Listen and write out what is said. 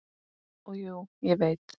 Og jú, ég veit.